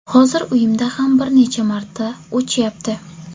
Hozir uyimda ham bir necha marta o‘chyapti”.